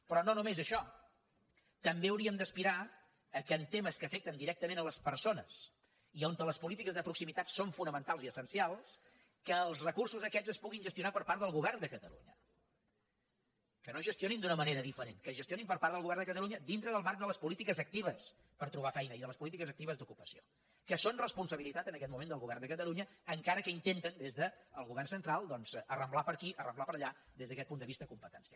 però no només això també hauríem d’aspirar que en temes que afecten directament les persones i on les polítiques de proximitat són fonamentals i essencials els recursos aquests es puguin gestionar per part del govern de catalunya que no es gestionin d’una manera diferent que es gestionin per part del govern de catalunya dins del marc de les polítiques actives per trobar feina i de les polítiques actives d’ocupació que són responsabilitat en aquest moment del govern de catalunya encara que intenten des del govern central doncs arramblar per aquí arramblar per allà des d’aquest punt de vista competencial